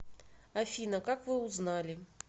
афина как вы узнали